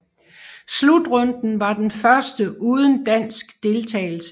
Slutrunden var den første uden dansk deltagelse